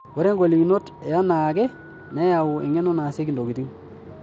Ore ng'olikinot yenaake neyau eng'eno naasieki ntokitin.